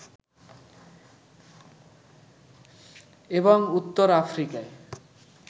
এবং উত্তর আফ্রিকায়